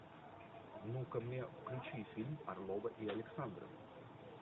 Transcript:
ну ка мне включи фильм орлова и александров